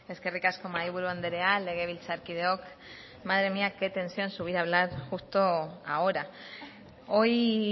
eskerrik asko mahai buru andrea legebiltzarkideok madre mía qué tensión subir a hablar justo ahora hoy